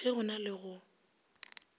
ge go na le go